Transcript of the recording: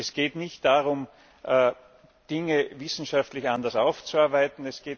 Es geht nicht darum, Dinge wissenschaftlich anders aufzuarbeiten.